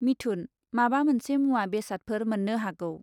मिथुन, माबा मोनसे मुवा बेसादफोर मोन्नो हागौ ।